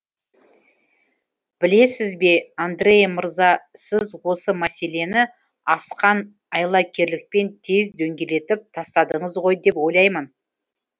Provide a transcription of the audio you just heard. білесіз бе андреа мырза сіз осы мәселені асқан айлакерлікпен тез дөңгелетіп тастадыңыз ғой деп ойлаймын